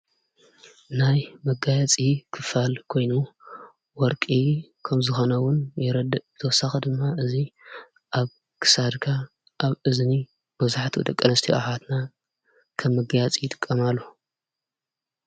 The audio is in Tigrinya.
ናይ መጋያ ጺ ኽፋል ኮይኑ ወርቂ ከም ዝኾነውን የረድ እብተወሳ ኽድማ እዙይ ኣብ ክሳድካ ኣብ እዝኒ በዙኃቲ ደቀነስቲኣኃትና ከም መጋያፂ ይጥቀማሉ።